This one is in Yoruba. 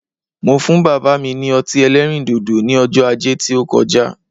Mo fún bàbá mi ní ọtí ẹlẹ́rìn dòdò ní ọjọ́ ajé tí ó koja